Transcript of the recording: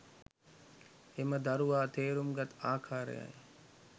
එම දරුවා තේරුම් ගත් ආකාරයයි.